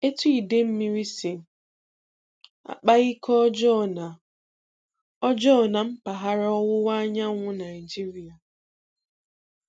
Etu idemmiri si akpa ike ọjọọ na ọjọọ na mpaghara Ọwụwa Anyanwụ Naịjirịa